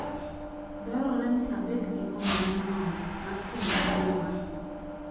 Dwarore ni abed gi omenda moromo mar timo nyiewo mara.